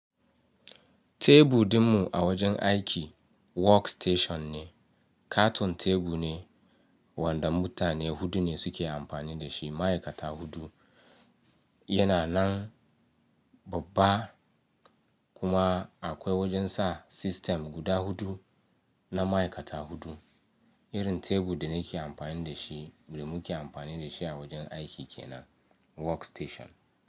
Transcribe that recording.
Tebur ɗinmu a wajen aiki work station ne. Katon tebu ne wanda mutane hudu ne suke amfani da shi, ma'aikata huɗu yana nan babba kuma akwai wajen sa system guda huɗu na ma'aikata huɗu. Irin tebur da na ke amfani da shi da mu ke amfani da shi a wajen aiki ke nan work station.